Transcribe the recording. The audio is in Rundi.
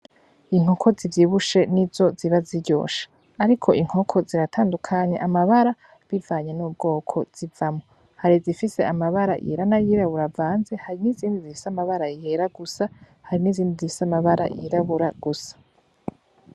Inkoko zivyibushe nizo ziba ziryoshe, ariko inkoko ziratandukanye amabara bivanye n'ubwoko zivamwo. Hari izifise amabara yera n'ayirabura avanze, hari n'izindi zifise ayera gusa hari n'izindi zifise amabara yirabura gusa.